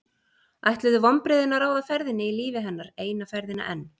Ætluðu vonbrigðin að ráða ferðinni í lífi hennar eina ferðina enn?